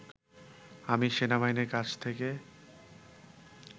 আমি সেনাবাহিনীর কাছ থেকে